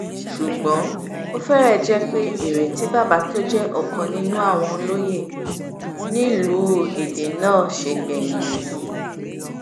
ṣùgbọ́n ó fẹ́rẹ̀ jẹ́ pé èrè tí bàbá tó jẹ́ ọ̀kan nínú àwọn olóye nílùú èdè náà ṣe gbẹ̀yìn nìyí